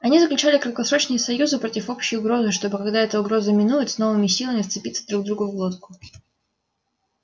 они заключали краткосрочные союзы против общей угрозы чтобы когда эта угроза минует с новыми силами вцепиться друг другу в глотку